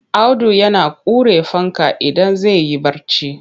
Audu yana ƙure fanka idan zai yi barci.